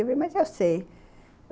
Eu falei, mas eu sei.